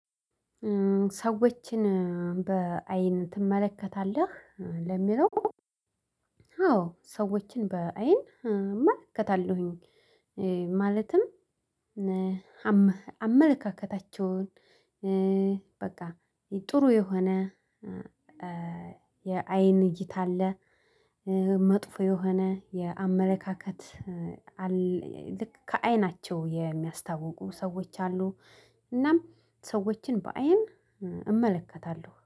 ሰዎችን በአይን ትመለከታለህ ለሚለው አዎ ሰዎችን በአይን እመልከታለሁኝ። ማለትም አመለካከታቸውን በቃ ጥሩ የሆነ የአይን እይታ አለ። መጥፎ የሆነ የአመለካከት ልክ ከአይናቸው የሚያስታውቁ ሰዎች አሉ። እናም ሰዎችን በአይን እመለከታለሁ